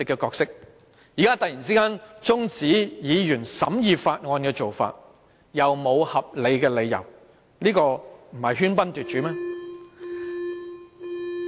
官員現在這樣突然中止議員審議《條例草案》，又沒有合理的理由，不是喧賓奪主嗎？